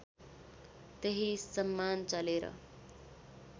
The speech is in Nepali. त्यही सम्मान चलेर